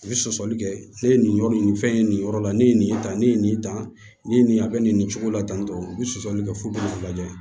U bɛ sɔsɔli kɛ ne ye nin yɔrɔ nin nin fɛn ye nin yɔrɔ la ne ye nin ta ne ye nin ta ni ye nin a bɛ nin cogo la tan tɔ u bɛ sɔsɔli kɛ fu ka lajɛ